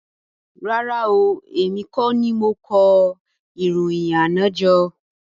Rárá oo, èmi kọ́ ni mo kó ìròyìn àná jọ